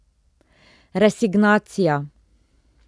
Resignacija.